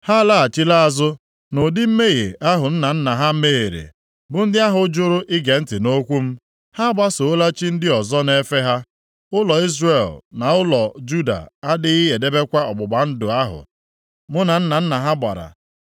Ha alaghachila azụ nʼụdị mmehie ahụ nna nna ha mehiere, bụ ndị ahụ jụrụ ige ntị nʼokwu m. Ha agbasoola chi ndị ọzọ na-efe ha. Ụlọ Izrel na ụlọ Juda adịghị edebekwa ọgbụgba ndụ ahụ mụ na nna nna ha gbara.